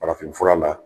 Farafinfura la